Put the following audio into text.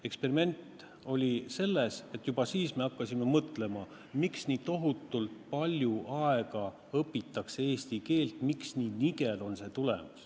Eksperiment oli selles, et juba siis me hakkasime mõtlema, miks on nii, et tohutult palju aega õpitakse eesti keelt, aga tulemus on nii nigel.